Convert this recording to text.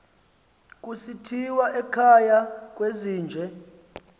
kusithiwa ekhaya kwezinje